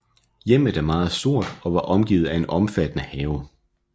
Hjemmet er meget stort og var omgivet af en omfattende have